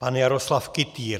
Pan Jaroslav Kytýr.